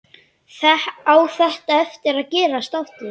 Á þetta eftir að gerast aftur?